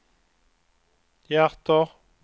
hjärter